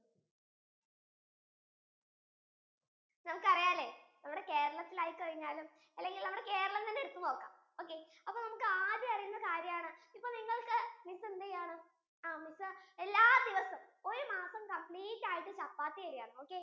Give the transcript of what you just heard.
നമുക്ക് അറിയാലേ നമ്മുടെ കേരളത്തിൽ ആയി കഴിഞ്ഞാലും അല്ലെങ്കിൽ നമ്മുടെ കേരളം തന്നെ എടുത്തു നോക്കാം അപ്പൊ നമുക്ക് ആദ്യം അറിയണ്ട കാര്യം ആണ് ഇപ്പൊ നിങ്ങൾക്കു എന്തുചെയ്യാനാണ് എല്ലാ ദിവസവും miss ഒരു മാസം complete ആയിട്ടു ചപ്പാത്തി തരുവാന് okay